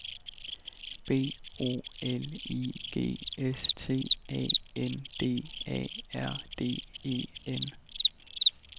B O L I G S T A N D A R D E N